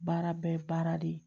Baara bɛɛ ye baara de ye